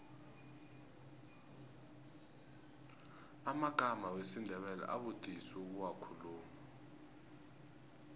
amagama wesindebele abudisi ukuwakhuluma